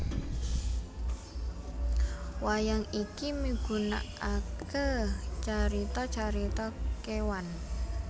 Wayang iki migunaaké carita carita kéwan